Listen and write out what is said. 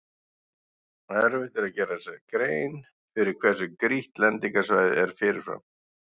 Erfitt er að gera sér grein fyrir hversu grýtt lendingarsvæðið er fyrirfram.